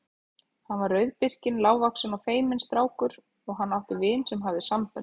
Hann var rauðbirkinn, lágvaxinn og feiminn strákur og hann átti vin sem hafði sambönd.